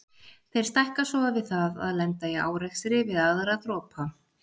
Þeir stækka svo við það að lenda í árekstri við aðra dropa.